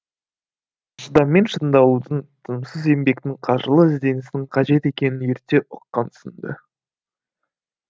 шыдаммен шыңдалудың тынымсыз еңбектің қажырлы ізденістің қажет екенін ерте ұққан сынды